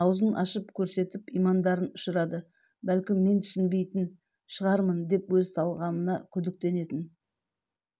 аузын ашып көрсетіп имандарын ұшырады бәлкім мен түсінбейтн шығармын деп өз талғамына күдіктенетін